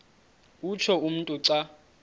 utsho umntu xa